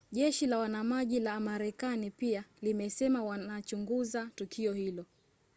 jeshi la wanamaji la marekani pia limesema wanachunguza tukio hilo